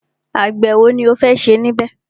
Àgbẹ̀ ẹ̀wo ni o fẹ́ ṣe níbẹ̀?